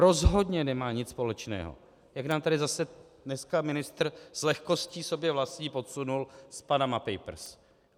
Rozhodně nemá nic společného, jak nám tady zase dneska ministr s lehkostí sobě vlastní podsunul, s Panama Papers.